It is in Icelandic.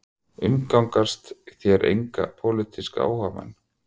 Umgangist þér enga pólitíska áhugamenn